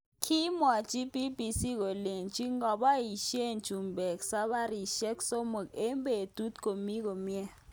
Kimwochi BBC kolenji ngoboishe chumbik sabarishek somok eng betut komi komye.